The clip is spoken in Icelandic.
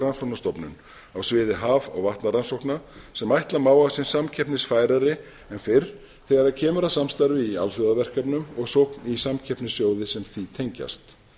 rannsóknastofnun á sviði haf og vatnarannsókna sem ætla má að sé samkeppnisfærari en fyrr þegar kemur samstarfi í alþjóðaverkefnum og sókn í samkeppnissjóði sem því tengjast